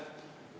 Aitäh!